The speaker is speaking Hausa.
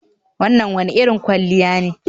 Wannan wane irin kwalliya ne